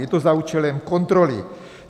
Je to za účelem kontroly.